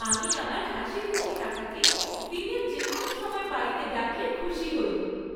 আমি আমার হাসিখুশি কাকাকে দিনের যে কোনও সময় বাড়িতে ডাকলে খুশি হই।